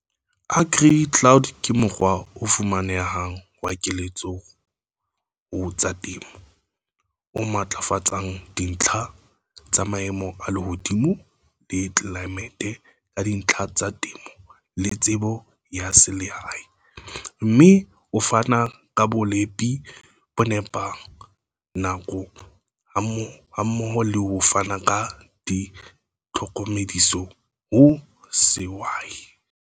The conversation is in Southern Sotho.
AgriCloud ke mokgwa o fumanehang wa keletso ho tsa temo, o matlafatsang dintlha tsa maemo a lehodimo le tlelaemete ka dintlha tsa temo le tsebo ya selehae, mme o fana ka bolepi bo nepang nako hammoho le ho fana ka ditlhokomediso ho sehwai.